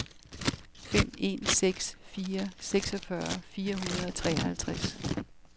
fem en seks fire seksogfyrre fire hundrede og treoghalvtreds